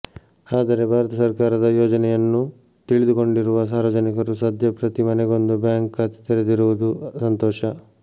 ಆದರೆ ಭಾರತ ಸರ್ಕಾರದ ಯೋಜನೆಯನ್ನು ತಿಳಿದುಕೊಂಡಿರುವ ಸಾರ್ವಜನಿಕರು ಸದ್ಯ ಪ್ರತಿ ಮನೆಗೊಂದು ಬ್ಯಾಂಕ್ ಖಾತೆ ತೆರದಿರುವುದು ಸಂತೋಷ